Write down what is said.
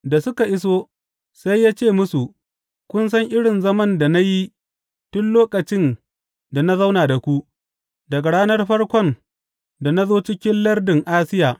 Da suka iso, sai ya ce musu, Kun san irin zaman da na yi tun lokacin da na zauna da ku, daga ranar farkon da na zo cikin lardin Asiya.